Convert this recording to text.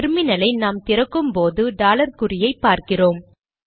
டெர்மினலை நாம் திறக்கும் போது டாலர் குறியை பார்க்கிறோம்